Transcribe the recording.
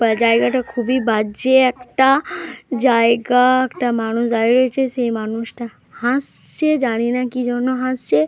বা জায়গাটা খুবই বাজে একটা জায়গা। একটা মানুষ দাঁড়িয়ে রয়েছে। সেই মানুষ হাসছে। জানিনা কি জন্য হাসছে।